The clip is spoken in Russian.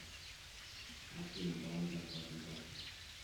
афина баланс зарплатной карты